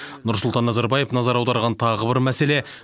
нұрсұлтан назарбаев назар аударған тағы бір мәселе